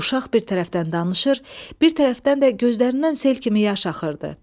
Uşaq bir tərəfdən danışır, bir tərəfdən də gözlərindən sel kimi yaş axırdı.